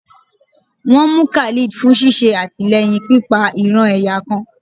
won mú Khalid fún sìsé atilẹyín pipa ìran-ẹ̀yà kan